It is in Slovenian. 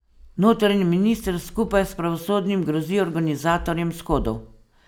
Notranji minister skupaj s pravosodnim grozi organizatorjem shodov.